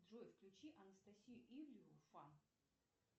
джой включи анастасию ивлееву фан